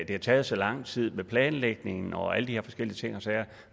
det har taget så lang tid med planlægningen og alle de her forskellige ting og sager